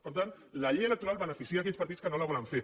per tant la llei electoral beneficia aquells partits que no la volen fer